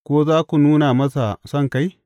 Ko za ku nuna masa sonkai?